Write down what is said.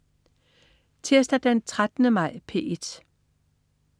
Tirsdag den 13. maj - P1: